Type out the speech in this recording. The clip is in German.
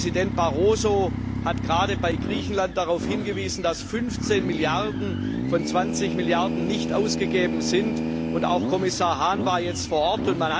Präsident Barroso hat gerade bei Griechenland darauf hingewiesen, dass 15 Milliarden von 20 Milliarden nicht ausgegeben wurden, und auch Kommissar Hahn war jetzt vor Ort.